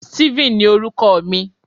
Steven ni orúkọ oko mi